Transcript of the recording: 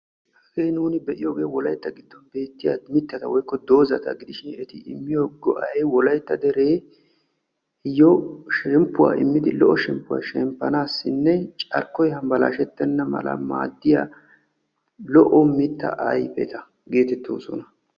Hagee nuuni be'iyoogee wolaytta giddon beettiyaa mittata woykko doozata gidishin eti immiyoo go"ay shemppuwaa immidi lo"o shemppuwaa shemppanaadaninne carkkoy hambalashetena mala maaddiyaa lo"o mittaa ayfeta getettoosona.